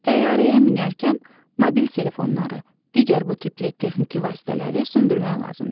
Təyyarəyə minərkən mobil telefonları, digər bu tipli texniki vasitələri söndürmək lazımdır.